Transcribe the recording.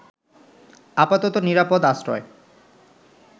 আপাতত নিরাপদ আশ্রয়